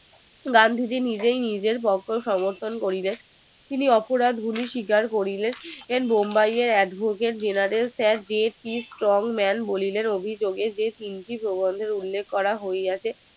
গান্ধী জি নিজেই নিজের পক্ষ সমর্থন করিতে তিনি অপরাধ গুলি স্বীকার কৰিলে মুম্বাইয়ের এক General Sir DSP Strong man বলিলেন যে অভিযোগে তিনটি প্রবন্ধের উল্লেখ আছে